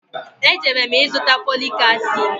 E jere m ịzụta foliki asịdị